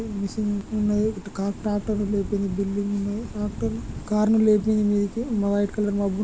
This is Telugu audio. మిషన్ ఉన్నది .ట్రాక్టర్ లేపింది బిల్డింగ్ కార్ ని లేపింది మీదికి వైట్ కలర్ మబ్బు --